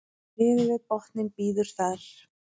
niður við botninn bíður þar